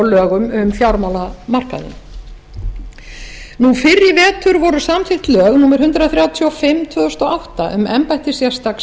fjármálamarkaðinn fyrr í vetur voru samþykkt lög númer hundrað þrjátíu og fimm tvö þúsund og átta um embætti sérstaks